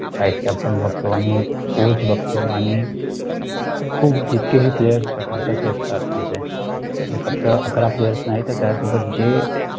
vice captain बघतो आणि coach बघतो, आणि फक्त अकरा players नाही तर त्यासोबत जे players